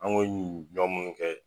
An ŋ'o yun dɔn munnu kɛ